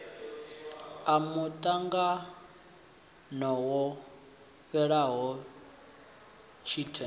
a muṱangano wo fhelaho tshite